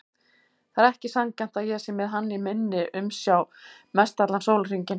Það er ekki sanngjarnt að ég sé með hann í minni umsjá mestallan sólarhringinn.